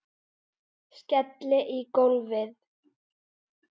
Skelli í gólfið.